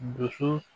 Dusu